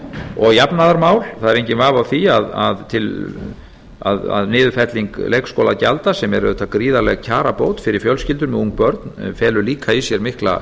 og jafnaðarmál það er enginn vafi á því að niðurfelling leikskólagjalda sem er auðvitað gríðarleg kjarabót fyrir fjölskyldur með ung börn felur líka í sér mikla